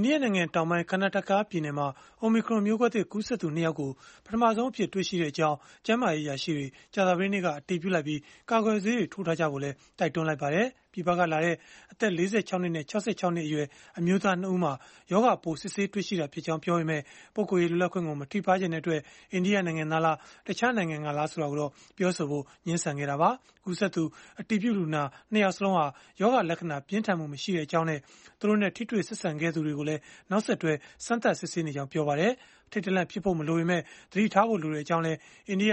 အိန္ဒိယနိုင်ငံတောင်ပိုင်း Karnataka ပြည်နယ်မှာ Omicron မျိုးကွဲသစ် ကူးစက်သူ ၂ ယောက်ကို ပထမဆုံးအဖြစ် တွေ့ရှိကြောင်း ကျန်းမာရေး အရာရှိတွေ ကြာသပတေးနေ့က အတည်ပြုလိုက်ပြီး၊ ကာကွယ်ဆေးတွေ ထိုးထားကြဖို့လည်း တိုက်တွန်းလိုက်ပါတယ်။ ပြည်ပကလာတဲ့ အသက် ၄၆ နှစ်နဲ့ ၆၆ နှစ်အရွယ် အမျိုးသား ၂ ဦးမှာ ရောဂါပိုး စစ်ဆေးတွေ့ရှိတာဖြစ်ကြောင်း ပြောပေမဲ့ ပုဂ္ဂိုလ်ရေးလွတ်လပ်ခွင့်ကို မထိပါးစေချင်တဲ့အတွက် အိန္ဒိယနိုင်ငံသားလား၊ တခြားနိုင်ငံသားလား ဆိုတာကိုတော့ ပြောဆိုဖို့ ငြင်းဆန်ခဲ့ကြတာပါ။ ကူးစက်သူ အတည်ပြုလူနာ ၂ ယောက်စလုံးဟာ ရောဂါလက္ခဏာ ပြင်းထန်မှု မရှိကြောင်းနဲ့ သူတို့နဲ့ ထိတွေ့ဆက်ဆံခဲ့သူတွေကိုလည်း နောက်ဆက်တွဲ စမ်းသပ်စစ်ဆေးနေကြောင်း ပြောပါတယ်။ အထိတ်တလန့် ဖြစ်ဖို့ မလိုပေမဲ့ သတိထားဖို့ လိုကြောင်းလည်း အိန္ဒိယ